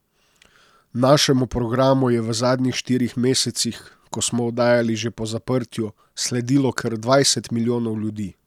Našemu programu je v zadnjih štirih mesecih, ko smo oddajali že po zaprtju, sledilo kar dvajset milijonov ljudi.